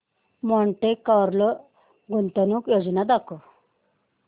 Monte Carlo गुंतवणूक योजना दाखव